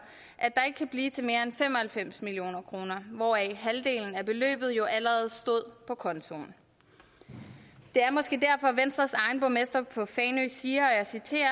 at der ikke kan blive til mere end fem og halvfems million kr hvoraf halvdelen af beløbet jo allerede stod på kontoen det er måske derfor venstres egen borgmester på fanø siger og jeg citerer